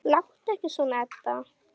Láttu ekki svona, Edda.